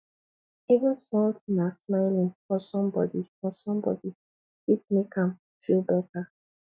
even small tin as smiling for somebodi for somebodi fit make am feel beta